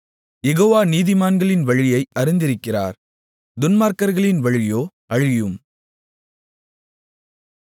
யெகோவா நீதிமான்களின் வழியை அறிந்திருக்கிறார் துன்மார்க்கர்களின் வழியோ அழியும்